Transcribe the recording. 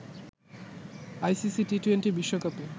ICC T twenty বিশ্বকাপে